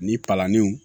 Ni palaniw